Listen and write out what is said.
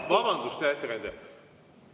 Vabandust, hea ettekandja!